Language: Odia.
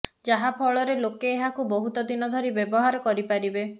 ଯାହାଫଳରେ ଲୋକେ ଏହାକୁ ବହୁତ ଦିନ ଧରି ବ୍ୟବହାର କରି ପାରିବେ